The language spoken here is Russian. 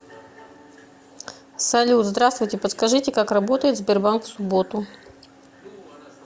салют здравствуйте подскажите как работает сбербанк в субботу